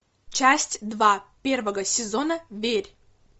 часть два первого сезона верь